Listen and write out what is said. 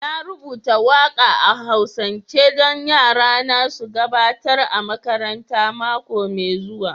Na rubuta waka a'Hausance don yarana su gabatar a makaranta mako mai zuwa